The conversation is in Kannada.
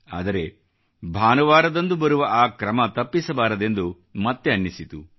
ಆದರೆ ಭಾನುವಾರದಂದು ಬರುವ ಆ ಕ್ರಮ ತಪ್ಪಿಸಬಾರದೆಂದು ಮತ್ತೆ ಅನಿಸಿತು